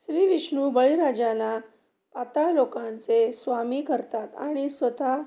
श्रीविष्णू बळीराजाला पाताळलोकाचे स्वामी करतात आणि स्वतः